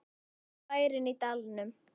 Síðasti bærinn í dalnum